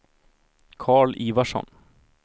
Karl Ivarsson